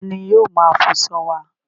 Ta ni yóò máa fọṣọ wá?